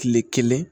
Kile kelen